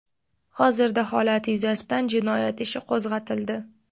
Hozirda holat yuzasidan jinoyat ishi qo‘zg‘atildi.